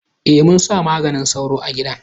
E, mun sa maganin sauron a gidan.